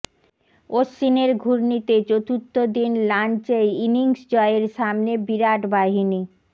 অশ্বিনের ঘূর্ণিতে চতুর্থ দিন লাঞ্চেই ইনিংস জয়ের সামনে বিরাট বাহিনী